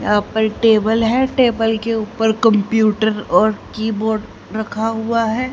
यहां पर टेबल है टेबल के ऊपर कंप्यूटर और कीबोर्ड रखा हुआ है।